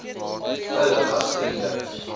hulle was vriende